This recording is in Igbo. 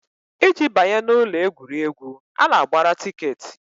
Iji banye n'ụlọ egwuregwu, a na-agbara tikeetị